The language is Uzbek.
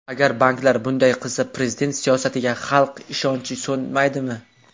Agar banklar bunday qilsa, Prezident siyosatiga xalq ishonchi so‘nmaydimi?